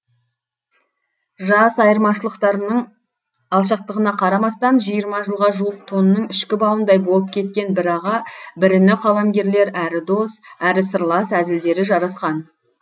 жас айырмашылықтарының алшақтығына қарамастан жиырма жылға жуық тонның ішкі бауындай болып кеткен бір аға бір іні қаламгерлер әрі дос әрі сырлас әзілдері жарасқан